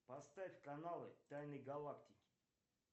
поставь каналы тайны галактики